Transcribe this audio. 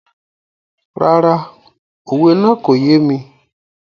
Rárá, òwe náà kò yé mi.